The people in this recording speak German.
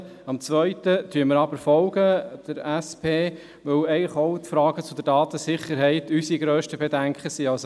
Dem zweiten Antrag folgen wir jedoch, weil den Fragen betreffend die Datensicherheit auch unsere grössten Bedenken gelten.